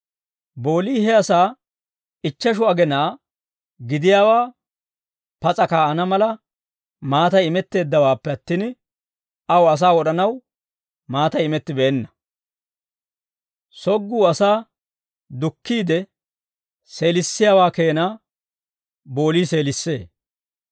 Boolii he asaa ichcheshu agenaa gidiyaawaa pas'a kaa'ana mala, maatay imetteeddawaappe attin, aw asaa wod'anaw maatay imettibeenna. Sogguu asaa dukkiide seelissiyaawaa keenaa boolii seelissee.